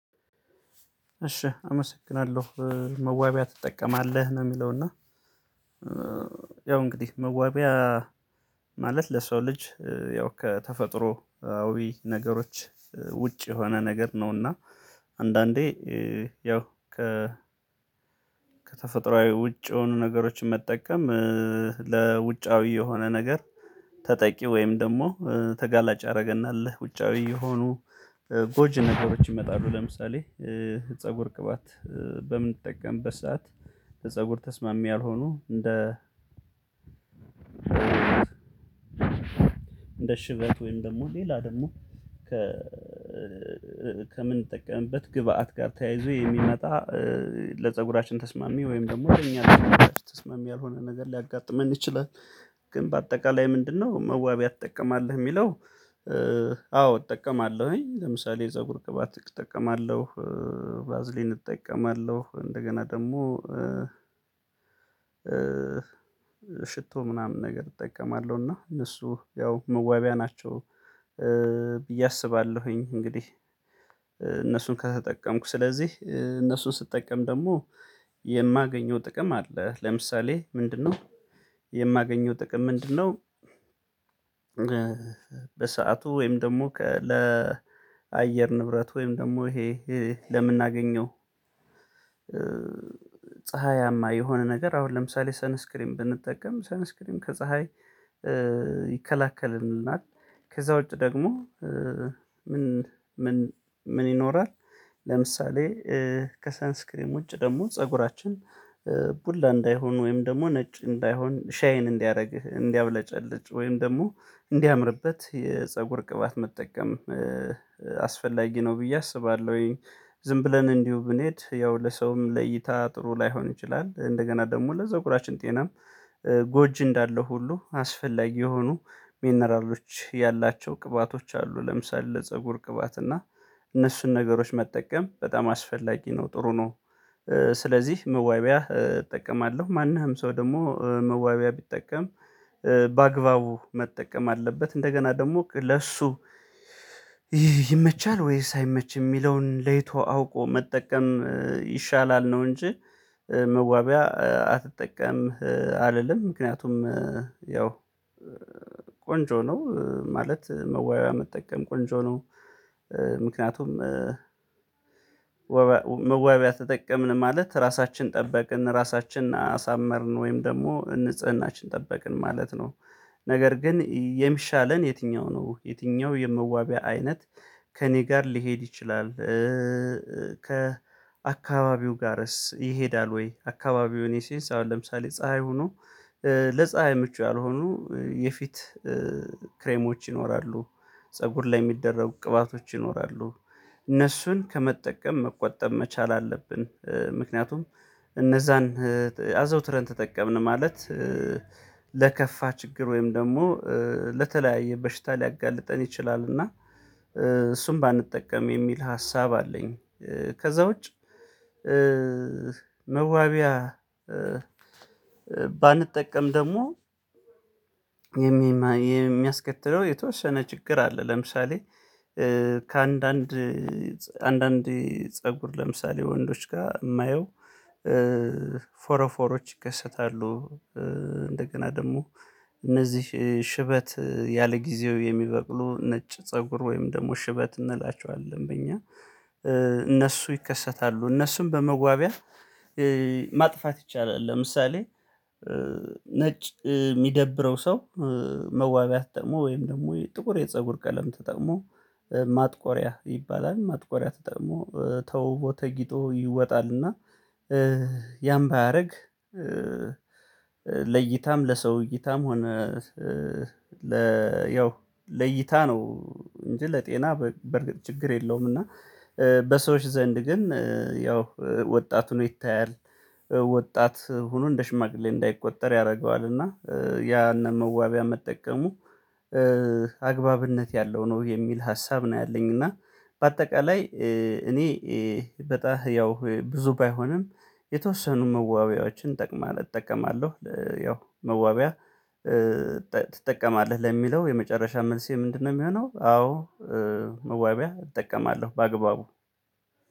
እሺ አመሰግናለሁ መዋቢያ ትጠቀማለህ ነው የሚለው እና ያው እንግዲህ መዋቢያ ማለት ለሰው ልጅ ያው ከተፈጥሮአዊ ነገሮች ውጭ የሆነ ነገር ነውና። አንዳንዴ ያው ከ ውጭ የሆኑ ነገሮችን መጠቀም ለውጫዊ የሆነ ነገር ተጠቂ ወይም ደግሞ ተጋላጭ አደረገና አለ ውጫዊ የሆኑ ጎጅ ነገሮች ይመጣሉ። ለምሳሌ ፀጉር ቅባት በምንጠቀምበት ሰዓት ፀጉር ተስማሚ ያልሆኑ እንደ እንደ ሽበት ወይም ደግሞ ሌላ ደግሞ ከ ከምንጠቀምበት ግብአት ጋር ተያይዞ የሚመጣ ለፀጉራችን ተስማሚ ወይም ደግሞ እኛ ተስማሚ ያልሆነ ነገር ሊያጋጥመን ይችላል። ግን በአጠቃላይ ምንድነው መዋቢያ ትጠቀማለህ የሚለው? አዎ እጠቀማለሁኝ ለምሳሌ የፀጉር ቅባት እጠቀማለሁ ባዝሊን እጠቀማለሁ እንደገና ደግሞ ሽቶ ምናምን ነገር እጠቀማለሁ እና እነሱ ያው መዋቢያ ናቸው። ብዬ አስባለሁኝ። እንግዲህ እነሱን ከተጠቀምኩ ስለዚህ እነሱን ስጠቀም ደግሞ የማገኘው ጥቅም አለ። ለምሳሌ ምንድነው? የማገኘው ጥቅም ምንድነው? በሰአቱ ወይም ደግሞ ለአየር ንብረት ወይም ደግሞ ይሄ ለምናገኘው ፀሀያማ የሆነ ነገር አሁን ለምሳሌ ሰነስክሪም ብንጠቀም ሰነስክሪም ከፀሀይ ይከለክልናል። ከዛ ውጪ ደግሞ ምን ምን ምን ይኖራል? ለምሳሌ ከሳንስክሪም ውጭ ደግሞ ፀጉራችን ቡላ እንዳይሆን ወይም ደግሞ ነጭ እንዳይሆን ሻዬን እንዲያደርግህ እንዲያብለጨልጭ ወይም ደግሞ እንዲያምርበት የፀጉር ቅባት መጠቀም አስፈላጊ ነው ብዬ አስባለሁኝ። ዝም ብለን እንዲሁ ብንሄድ ያው ለሰውም ለይታ ጥሩ ላይሆን ይችላል። እንደገና ደግሞ ለዘጉራችን ጤናም ጎጂ እንዳለው ሁሉ አስፈላጊ የሆኑ ሚነራሎች ያላቸው ቅባቶች አሉ። ለምሳሌ ለፀጉር ቅባት እና እነሱን ነገሮች መጠቀም በጣም አስፈላጊ ነው ጥሩ ነው። ስለዚህ መዋቢያ እጠቀማለሁ ማንም ሰው ደግሞ መዋቢያ ቢጠቀም በአግባቡ መጠቀም አለበት እንደገና ደግሞ ለእሱ ይመቻል ወይስ አይመች የሚለውን ለይቶ አውቆ መጠቀም ይሻላል ነው። እንጂ መዋቢያ አትጠቀምም አልልም። ምክንያቱም ያው ቆንጆ ነው ማለት መወያያ መጠቀም ቆንጆ ነው። ምክንያቱም መዋቢያ ተጠቅመን ማለት ራሳችን ጠበቅን ራሳችንን አሳመርን ወይም ደግሞ ንጽህናችን ጠበቅን ማለት ነው። ነገር ግን የሚሻለን የትኛው ነው? የትኛው የመዋቢያ አይነት? ከእኔ ጋር ሊሄድ ይችላል? ከአካባቢው ጋርስ ይሄዳል ወይ? አካባቢውን የሴንስ አሁን ለምሳሌ ፀሀይ ሁኑ ለፀሀይ ምቹ ያልሆኑ የፊት ክሬሞች ይኖራሉ። ፀጉር ላይ የሚደረጉ ቅባቶች ይኖራሉ እነሱን ከመጠቀም መቆጠብ መቻል አለብን። ምክንያቱም እነዛን አዘውትረን ተጠቀምን ማለት ለከፋ ችግር ወይም ደግሞ ለተለያየ በሽታ ሊያጋልጠን ይችላልና። እሱም ባንጠቀም የሚል ሀሳብ አለኝ። ከዛ ውጪ መዋቢያ ባንጠቀም ደግሞ የሚያስከትለው የተወሰነ ችግር አለ። ለምሳሌ ከአንዳንድ አንዳንድ ፀጉር ለምሳሌ ወንዶች ጋር የማየው ፎሮ ፎሮዎች ይከሰታሉ። እንደገና ደግሞ እነዚህ ሽበት ያለጊዜው የሚበቅሉ ነጭ ፀጉር ወይም ደግሞ ሽበት እንላቸዋለን። በእኛ እነሱ ይከሰታሉ እነሱም በመጓቢያ ማጥፋት ይቻላል። ለምሳሌ ነጭ የሚደብረው ሰው መዋቢያ ተጠቅሞ ወይም ደግሞ ጥቁር የፀጉር ቀለም ተጠቅሞ ማጥቆሪያ ይባላል ማጥቆሪያ ተግሞ ተውቦ ተጊጦ ይወጣልና። ያም ባያደርግ ለይታም ለሰው እይታም ሆነ ለ ያው ለይታ ነው እንጂ ለጤና በርግጥ ችግር የለውም። እና በሰዎች ዘንድ ግን ያው ወጣት ሆኖ ይታያል። ወጣት ሆኖ እንደ ሽማግሌ እንዳይቆጠር ያደርገዋል። እና ያንን መዋቢያ መጠቀሙ አግባብነት ያለው ነው የሚል ሀሳብ ነው። ያለኝና በአጠቃላይ እኔ በጣም ያው ብዙ ባይሆንም የተወሰኑ መዋቢያዎችን ጠቅማል እጠቀማለሁ። ያው መዋቢያ ትጠቀማለህ ለሚለው የመጨረሻ መልሴ ምንድነው የሚሆነው? አዎ መዋቢያ እጠቀማለሁ በአግባቡ።